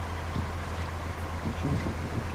включи острые козырьки